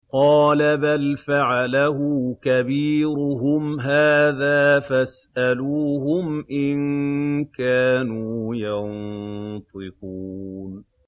قَالَ بَلْ فَعَلَهُ كَبِيرُهُمْ هَٰذَا فَاسْأَلُوهُمْ إِن كَانُوا يَنطِقُونَ